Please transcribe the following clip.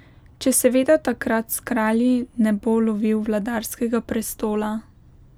Če seveda takrat s Kralji ne bo lovil vladarskega prestola ...